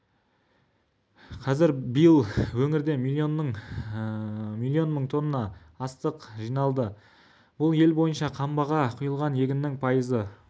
кз биыл өңірде миллион мың тонна астық жиналды бұл ел бойынша қамбаға құйылған егіннің пайызы